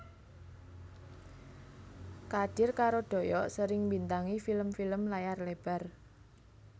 Kadir karo Doyok sering mbintangi film film layar lebar